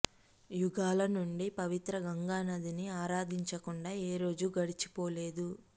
యుగాల నుండి పవిత్ర గంగా నదిని ఆరాధించకుండా ఏ రోజూ గడిచిపోలేదు